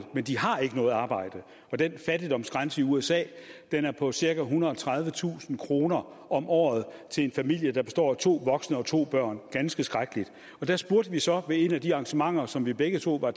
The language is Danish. men de har ikke noget arbejde og den fattigdomsgrænse i usa er på cirka ethundrede og tredivetusind kroner om året til en familie der består af to voksne og to børn ganske skrækkeligt der spurgte vi så ved et af de arrangementer som vi begge to var